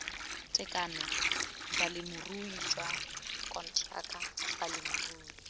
tekano bolemirui jwa konteraka bolemirui